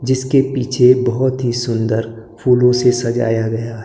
जिसके पीछे बहोत ही सुंदर फूलों से सजाया गया--